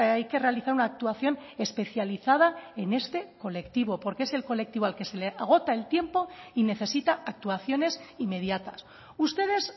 hay que realizar una actuación especializada en este colectivo porque es el colectivo al que se le agota el tiempo y necesita actuaciones inmediatas ustedes